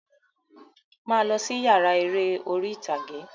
Máa lọ sí yàrá eré orí ìtàgé!